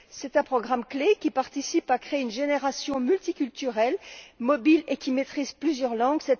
Il s'agit d'un programme clé qui contribue à créer une génération multiculturelle, mobile et qui maîtrise plusieurs langues.